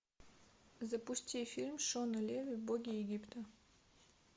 запусти фильм шона леви боги египта